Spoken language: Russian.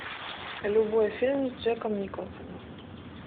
любой фильм с джеком николсоном